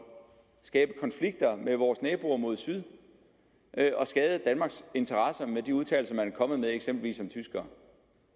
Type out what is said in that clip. skabe konflikter med vores naboer mod syd og skade danmarks interesser med de udtalelser man er kommet med eksempelvis om tyskere